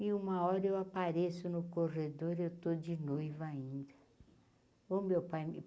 E uma hora eu apareço no corredor e eu estou de noiva ainda. oh meu pai me